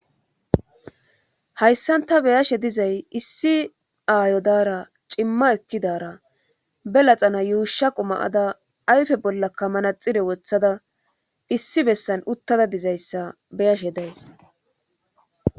hayssan ta beyashe dizay issi aayo daara cimma ekkidara belaxana yuusha quma7ada ayfe bolla kamana xire wothada issi bessan uttada dizayssa beyashe days